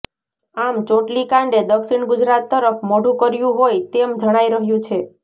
આમ ચોટલી કાંડે દક્ષિણ ગુજરાત તરફ મોઢું કર્યું હોય તેમ જણાઇ રહ્યું છે